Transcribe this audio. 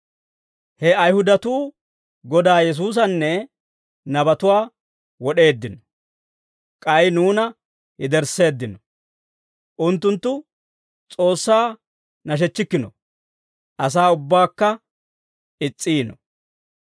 He Ayihudatuu Godaa Yesuusanne nabatuwaa wod'eeddino; k'ay nuuna yedersseeddino. Unttunttu S'oossaa nashechchikkino; asaa ubbaakka is's'iino.